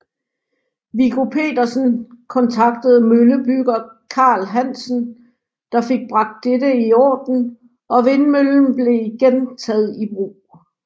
Viggo Petersen kontaktede møllebygger Karl Hansen der fik bragt dette i orden og vindmøllen blev igen taget i brug